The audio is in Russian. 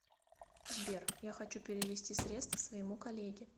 сбер я хочу перевести средства своему коллеге